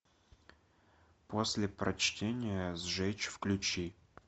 после прочтения сжечь включи